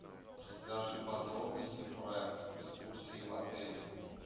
расскажи подробности про экскурсии в отеле